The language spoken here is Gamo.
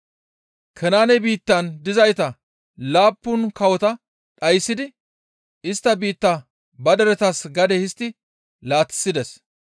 Kanaane biittan dizayta laappun kawota dhayssidi istta biittaa ba deretas gade histti laatissides.